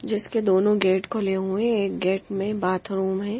जिसके दोनों गेट खुले हुए एक गेट में बाथरूम हैं।